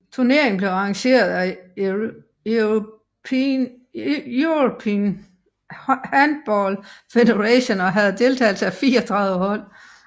Turneringen blev arrangeret af European Handball Federation og havde deltagelse af 34 hold